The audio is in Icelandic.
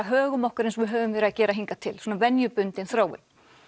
högum okkur eins og við höfum verið að gera hingað til svona venjubundin þróun